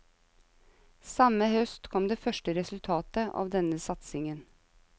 Samme høst kom det første resultatet av denne satsingen.